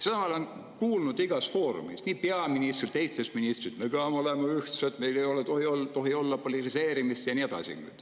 Seda me oleme kuulnud igas foorumis, nii peaministrilt kui ka teistelt ministritelt, et me peame olema ühtsed, meil ei tohi olla politiseerimist ja nii edasi.